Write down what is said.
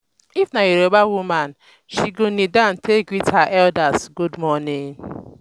if na yoruba woman um she go kneel down take greet her elders gud morning